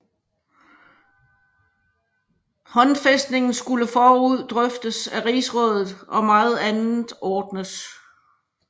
Håndfæstningen skulle forud drøftes af rigsrådet og meget andet ordnes